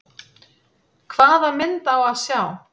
Hvaða mynd á að sjá?